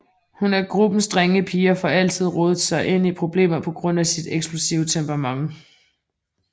Hun er gruppens drengepige og får altid rodet sig ind i problemet på grund af sit eksplosive temperament